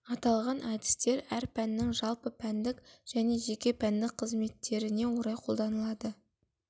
аталған әдістер әр пәннің жалпы пәндік және жеке пәндік қызметтеріне орай қолданылады